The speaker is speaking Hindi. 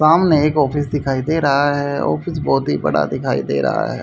सामने एक ऑफिस दिखाई दे रहा है ऑफिस बहोत ही बड़ा दिखाई दे रहा है।